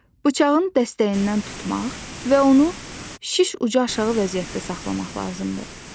Bıçağın dəstəyindən tutmaq və onu şiş ucu aşağı vəziyyətdə saxlamaq lazımdır.